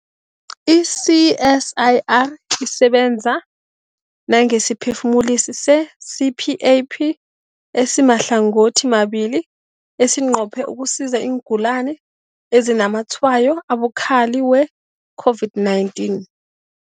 I-CSIR isebenza nangesiphefumulisi se-CPAP esimahlangothimabili esinqophe ukusiza iingulani ezinazamatshwayo abukhali we-COVID-19.